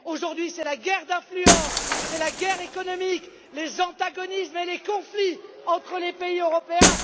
Aujourd'hui, c'est la guerre d'influence, la guerre économique, les antagonismes et les conflits entre les pays européens.